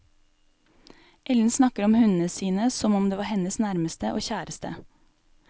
Ellen snakker om hundene sine som om det var hennes nærmeste og kjæreste.